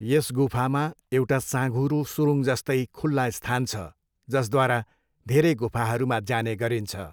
यस गुफामा एउटा साँघुरो सुरुङजस्तै खुल्ला स्थान छ जसद्वारा धेरै गुफाहरूमा जाने गरिन्छ।